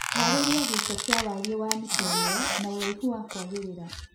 Harĩlia gĩito kia warie wa mita ĩmwe na uraihu wa kwagĩrĩra